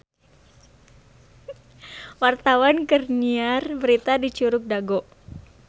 Wartawan keur nyiar berita di Curug Dago